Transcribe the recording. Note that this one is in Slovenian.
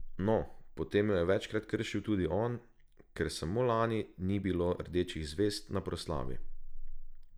No, potem jo je večkrat kršil tudi on, ker samo lani ni bilo rdečih zvezd na proslavi.